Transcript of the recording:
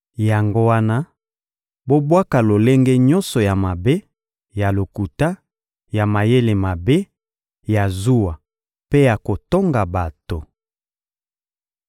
Yango wana, bobwaka lolenge nyonso ya mabe, ya lokuta, ya mayele mabe, ya zuwa mpe ya kotonga bato.